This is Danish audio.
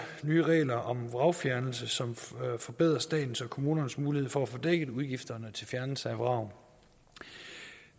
nye regler om vragfjernelse som forbedrer statens og kommunernes mulighed for at få dækket udgifterne til fjernelse af vrag